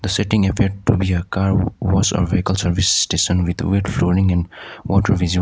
the setting appear to be a car wa wash or vehicle service station with a wet flooring and water visible.